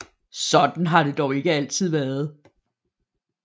Sådan har det dog ikke altid været